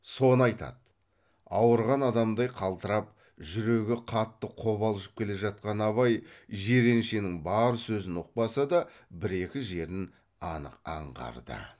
соны айтады ауырған адамдай қалтырап жүрегі қатты қобалжып келе жатқан абай жиреншенің бар сөзін ұқпаса да бір екі жерін анық аңғарды